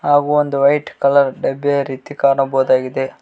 ಹಾಗು ಒಂದು white colour ಡಬ್ಬಿಯ ರೀತಿ ಕಾಣಬಹುದಾಗಿದೆ.